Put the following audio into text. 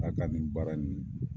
ka nin baara